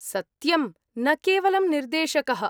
सत्यम्, न केवलं निर्देशकः।